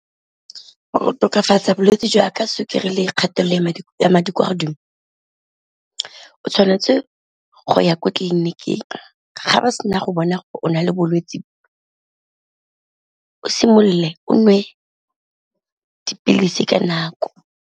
Go tokafatsa bolwetse jwa ka sukiri le kgatelelo ya madi kwa godimo o tshwanetse go ya ko tleliniking, ga ba sena go bona o na le bolwetse o simolole o nwe dipilisi ka nako.